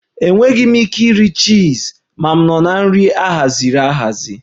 Enweghị m ike iri chizi, m nọ na nri ahaziri ahazi